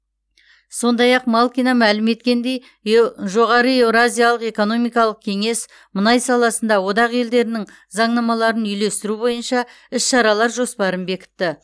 сондай ақ малкина мәлім еткендей еу жоғары еуразиялық экономикалық кеңес мұнай саласында одақ елдерінің заңнамаларын үйлестіру бойынша іс шаралар жоспарын бекітті